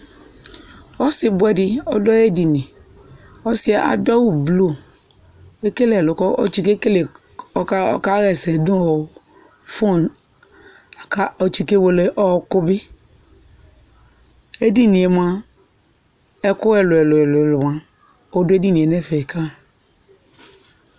Ɔsi bʋɛ di ɔdʋ ayɛdini Ɔsi ɛ adʋ awʋ blu kʋ ekele ɛlʋ kʋ ɔtsikekele, ɔkaɣesɛ nʋ ɔ fonʋ, la kɔtsikewele ɔɔkʋ bi Ɛdini e moa, ɛkʋ ɛlʋ-ɛlʋ-ɛlʋ-ɛlʋ moa, ɔdʋ edini nɛfɛ ka yi